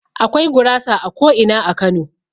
Akwai gurasa a ko'ina a Kano.